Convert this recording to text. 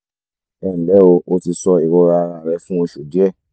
ẹ nlẹ́ o o ti sọ ìrora ara rẹ fún oṣù díẹ̀